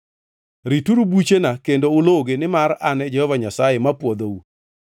Rituru buchena kendo uluwgi, nimar An e Jehova Nyasaye mapwodhou.